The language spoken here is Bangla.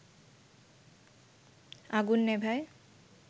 আগুন নেভায়